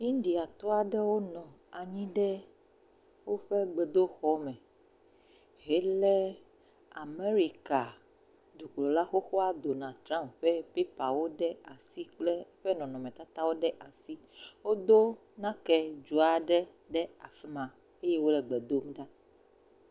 Indiatɔ aɖewo nɔ anyi ɖe woƒe gbedoxɔme hele le America dukplɔ xoxoa Donald Triump ƒe pepawo ɖe asi kple eƒe nɔnɔmetatawo ɖe asi wodo nakedzo aɖe ɖe afima eye wole gbedom ɖa